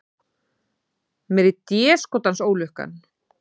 Meiri déskotans ólukkan.